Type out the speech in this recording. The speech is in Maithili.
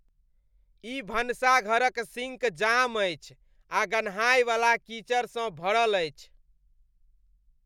ई भनसाघर क सिंक जाम अछि आ गन्हायवला कीचड़सँ भरल अछि।